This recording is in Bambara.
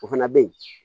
O fana bɛ ye